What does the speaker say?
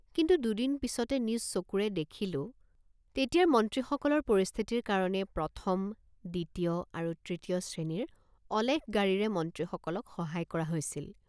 কিন্তু দুদিন পিচতে নিজ চকুৰে দেখিলোঁ তেতিয়াৰ মন্ত্ৰীসকলৰ পৰিস্থিতিৰ কাৰণে প্ৰথম দ্বিতীয় আৰু তৃতীয় শ্ৰেণীৰ অলেখ গাড়ীৰে মন্ত্ৰীসকলক সহায় কৰা হৈছিল।